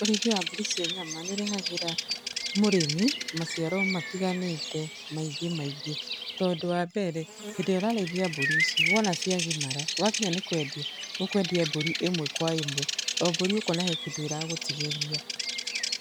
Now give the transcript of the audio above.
Ũrĩithia wa mbũri cia nyama nĩ ũrehagĩra mũrĩmi maciaro matiganĩte maingĩ maingĩ, tondũ wa mbere, hĩndĩ ĩrĩa ũrarĩithia mbũri ici, wona cia gimara wakinya nĩ kwendia, ũkwendia mbũri ĩmwe kwa ĩmwe, o mbũri ũkona he kĩndũ ĩragũtigĩria,